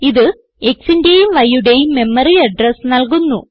ഇത് xന്റേയും yയുടേയും മെമ്മറി അഡ്രസ് നല്കുന്നു